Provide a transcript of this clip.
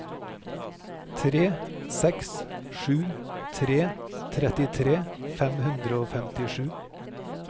tre seks sju tre trettitre fem hundre og femtisju